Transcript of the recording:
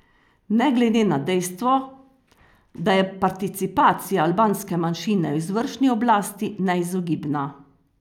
Ne glede na dejstvo, da je participacija albanske manjšine v izvršni oblasti neizogibna.